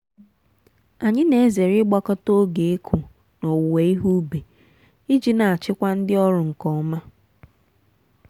anyị na-ezere ịgbakọta oge ịkụ na owuwe ihe ubi iji na-achịkwa ndi ọrụ nke ọma.